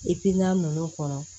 ninnu kɔnɔ